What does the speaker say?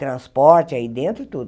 Transporte aí dentro e tudo.